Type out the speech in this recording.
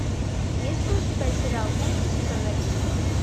есть ли у тебя сериал кухня сезон один